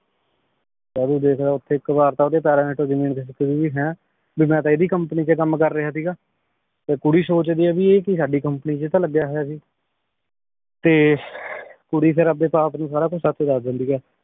ਜਦ ਊ ਦੇਖਦਾ ਆਯ ਓਤਾਹ੍ਯ ਏਇਕ ਵਾਰ ਤਾਂ ਓਡੀ ਪੈਰ੍ਰਾਂ ਚੋ ਜ਼ਮੀਨ ਖਿਸਕ ਗਈ ਭੀ ਮੈਂ ਤਾਂ ਏਡੀ company ਚ ਕਾਮ ਕਰ ਰਯ ਸੀਗਾ ਤੇ ਕੁਰੀ ਸੋਚਦੀ ਆਯ ਆਯ ਕੀ ਸਾਡੀ company ਚ ਤਾਂ ਲਾਗ੍ਯ ਹੋਯਾ ਸੀ ਤੇ ਕੁਰੀ ਫੇਰ ਅਪਡੇ ਬਾਪ ਨੂ ਸਾਰਾ ਕੁਛ ਸਚ ਦਸ ਦੇਂਦੀ ਆ